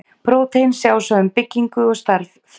Prótín sjá svo um byggingu og starf fruma.